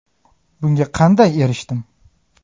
Bunga qanday erishdim?